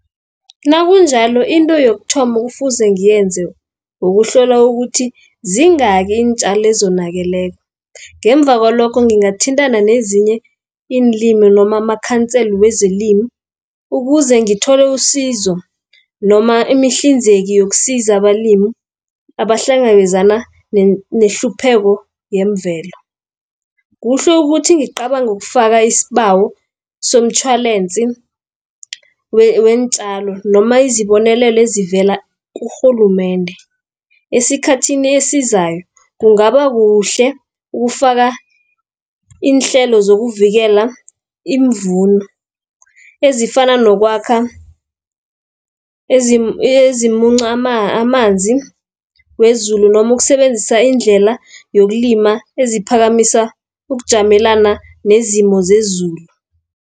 Nakunjalo into yokuthoma okufuze ngiyenze ukuhlola ukuthi zingaki iintjalo ezonakeleko. Ngemva kwalokho ngingathintana nezinye iinlimi noma amakhansela wezelimu, ukuzengithole usizo noma imihlinzeki yokusiza abalimi abahlangabezana nehlupheko yemvelo. Kuhle ukuthi ngicabange ukufaka isibawo somtjhwalensi weentjalo, noma izibonelelo ezivela kurhulumende. Esikhathini esizayo kungaba kuhle ukufaka iinhlelo zokuvikela iimvuno, ezifana nokwakha ezimunca amanzi wezulu, noma ukusebenzisa indlela yokulima eziphakamisa ukujamelana nezimo zezulu.